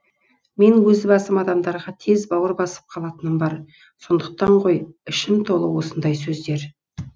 мен өз басым адамдарға тез бауыр басып қалатыным бар сондықтан ғой ішім толы осындай сөздер